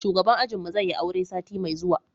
shugaban ajin mu zai yi aure sati mai zuwa